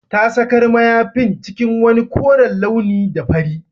Ta sakar mayafin cikin wani koren launi da fari